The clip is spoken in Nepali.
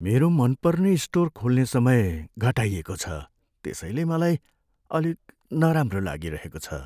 मेरो मनपर्ने स्टोर खोल्ने समय घटाइएको छ त्यसैले मलाई अलिक नराम्रो लागिरहेको छ।